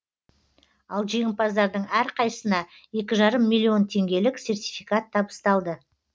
ал жеңімпаздардың әрқайсысына екі жарым миллион теңгелік сертификат табысталды